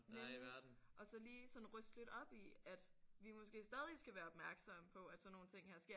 Nemlig og så lige sådan ryste lidt op i at vi måske stadig skal være opmærksomme på at sådan nogle her ting sker